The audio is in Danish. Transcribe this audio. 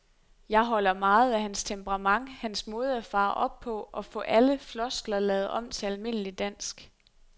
Jeg holder meget af hans temperament, hans måde at fare op på og få alle floskler lavet om til almindelig dansk.